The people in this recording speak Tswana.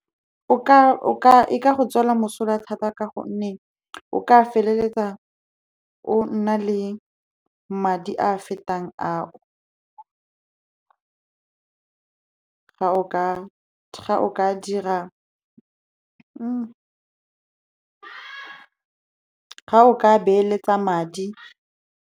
E go tswela mosola thata ka gonne o ka feleletsa o nna le madi a a fetang a o gao ka beeletsa madi.